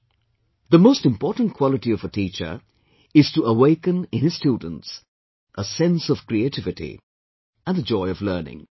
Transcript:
" The most important quality of a teacher, is to awaken in his students, a sense of creativity and the joy of learning